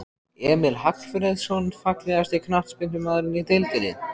Emil Hallfreðsson Fallegasti knattspyrnumaðurinn í deildinni?